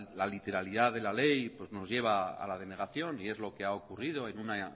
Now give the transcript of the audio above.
la literalidad de la ley nos lleva a la denegación y es lo que ha ocurrido en una